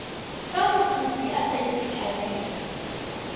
fa mokopi a sa itekanela